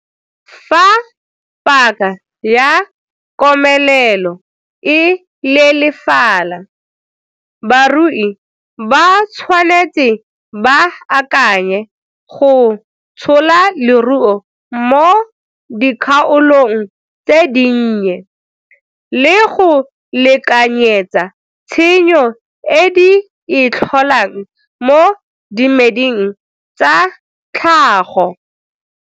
Fa paka ya komelelo e leelefala, barui ba tshwanetse ba akanye go tshola loruo mo dikgaolong tse dinnye le go lekanyetsa tshenyo e di e tlholang mo dimeding tsa tlhago.